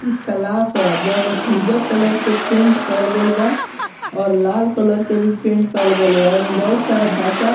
इ क्लास है जोन उज्जर कलर के पेंट करल गेल बा और लाल कलर के भी पेंट करल गेल बा एमे बहुत सारा बच्चा --